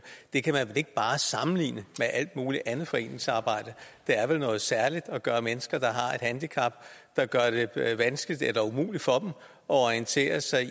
det kan man ikke bare sammenligne med alt muligt andet foreningsarbejde det er vel noget særligt at gøre for mennesker der har handicap der gør det vanskeligt eller umuligt for dem at orientere sig